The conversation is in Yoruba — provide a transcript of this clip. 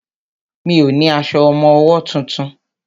Mi ò ní aṣọ ọmọwọ́ tuntun.